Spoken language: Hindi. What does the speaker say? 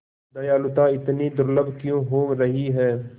दयालुता इतनी दुर्लभ क्यों हो रही है